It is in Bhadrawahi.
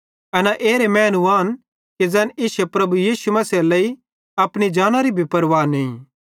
एना एरे मैनू आन कि ज़ैन इश्शे प्रभु यीशु मसीहेरे लेइ अपनी जानरी भी परवाह नईं